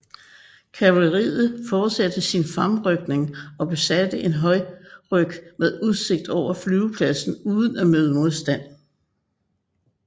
Kavaleriet forsatte sin fremrykning og besatte en højderyg med udsigt over flyvepladsen uden at møde modstand